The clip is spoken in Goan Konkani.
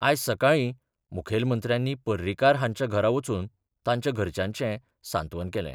आयज सकाळीं मुखेलमंत्र्यानी पर्रीकार हांच्या घरा वचून तांच्या घरच्यांचें सांत्वन केलें.